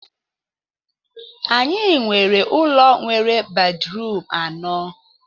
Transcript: Anyị nwere ụlọ nwere bedrum anọ